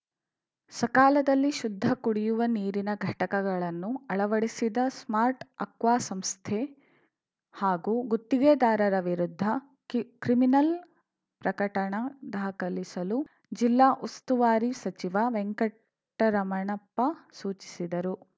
ಸಕಾಲದಲ್ಲಿ ಶುದ್ಧ ಕುಡಿಯುವ ನೀರಿನ ಘಟಕಗಳನ್ನು ಅಳವಡಿಸಿದ ಸ್ಮಾರ್ಟ್‌ಅಕ್ವಾಸಂಸ್ಥೆ ಹಾಗೂ ಗುತ್ತಿಗೆದಾರರ ವಿರುದ್ಧ ಕಿ ಕ್ರಿಮಿನಲ್‌ ಪ್ರಕರಣ ದಾಖಲಿಸಲು ಜಿಲ್ಲಾ ಉಸ್ತುವಾರಿ ಸಚಿವ ವೆಂಕಟರಮಣಪ್ಪ ಸೂಚಿಸಿದರು